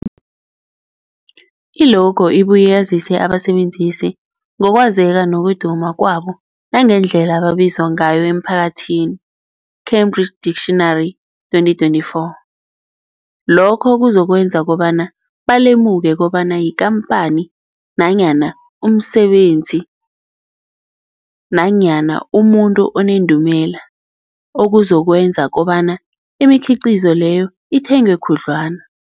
I-logo ibuye yazise abasebenzisi ngokwazeka nokuduma kwabo nangendlela abaziwa ngayo emphakathini, Cambridge Dictionary 2024. Lokho kuzokwenza kobana balemuke kobana yikhamphani nanyana umsebenzi nanyana umuntu onendumela, okuzokwenza kobana imikhiqhizo leyo ithengwe khudlwana.